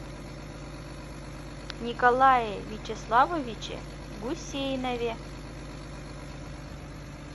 николае вячеславовиче гусейнове